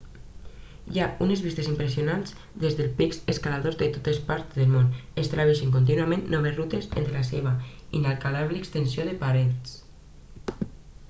hi ha unes vistes impressionants des dels pics escaladors de totes parts del món estableixen contínuament noves rutes entre la seva inacabable extensió de parets